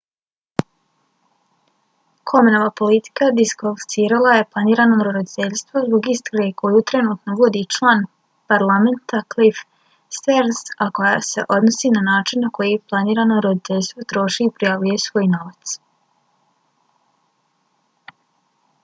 komenova politika diskvalificirala je planirano roditeljstvo zbog istrage koju trenutno vodi član parlamenta cliff stearns a koja se odnosi na način na koji planirano roditeljstvo troši i prijavljuje svoj novac